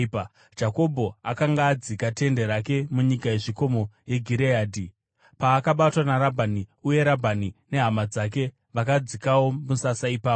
Jakobho akanga adzika tende rake munyika yezvikomo yeGireadhi paakabatwa naRabhani, uye Rabhani nehama dzake vakadzikawo musasa ipapo.